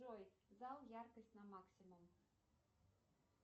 джой зал яркость на максимум